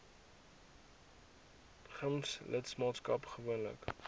gems lidmaatskap moontlik